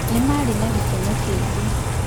Nĩ maarĩ na gĩkeno kĩnene.